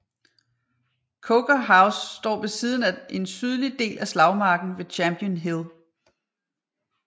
Coker House står ved siden af en sydlig del af slagmarken ved Champion Hill